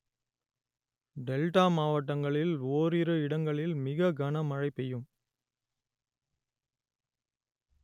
delta மாவட்டங்களில் ஓரிரு இடங்களில் மிக கனமழை பெய்யும்